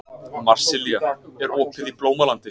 Marsilía, er opið í Blómalandi?